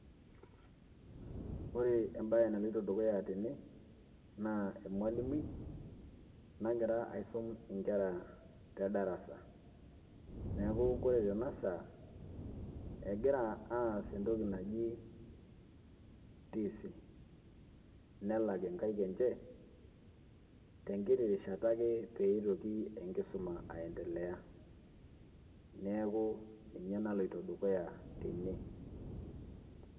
Ore embaye naloito dukuya tene naa emalimui nagira aisum nkera te darasa. Neeku kore tena saa egira aas entoki naji tisi nelak nkaek enje te nkiti rishata ake pee itoki enkisuma aiendelea. Neeku ninye naloito dukuya tene.